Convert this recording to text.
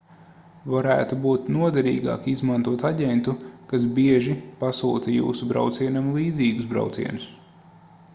varētu būt noderīgāk izmantot aģentu kas bieži pasūta jūsu braucienam līdzīgus braucienus